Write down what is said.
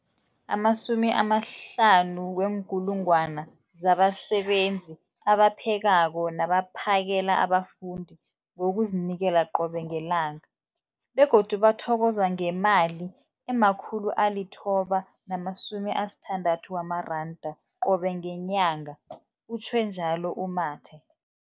50 000 zabasebenzi abaphekako nabaphakela abafundi ngokuzinikela qobe ngelanga, begodu bathokozwa ngemali ema-960 wamaranda qobe ngenyanga, utjhwe njalo u-Mathe.